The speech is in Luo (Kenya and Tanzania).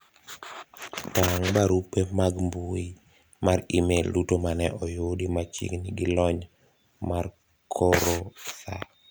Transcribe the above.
tang' barupe mag mbui mar email duto mane oyudi machiegni gi lony mar koro saa